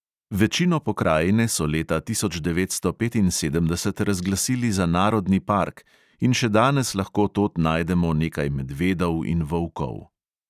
Večino pokrajine so leta tisoč devetsto petinsedemdeset razglasili za narodni park, in še danes lahko tod najdemo nekaj medvedov in volkov.